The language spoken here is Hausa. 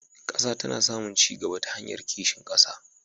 Ƙasa tana samun ci gaba ta hanyar kishin ƙasa.